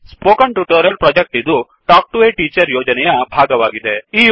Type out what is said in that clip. spoken tutorial project ಇದು talk to a teacher ಯೋಜನೆಯ ಭಾಗವಾಗಿದೆ